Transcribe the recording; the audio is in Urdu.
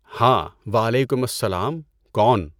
ہاں، وعلیکم السّلام! کون؟